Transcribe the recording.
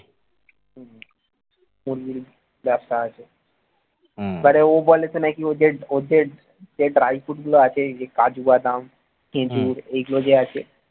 মুরগির ব্যবসা আছে মানে ও বলেছে নাকি ওদের ওদের যে dry food গুলো আছে এই যে কাজুবাদাম খেজুর এগুলো যে আছে